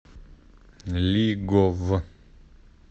лиговъ